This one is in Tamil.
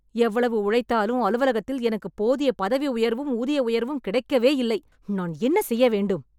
எவ்வளவு உழைத்தாலும் அலுவலகத்தில் எனக்குப் போதிய பதவி உயர்வும் ஊதிய உயர்வும் கிடைக்கவே இல்லை. நான் என்ன செய்ய வேண்டும்?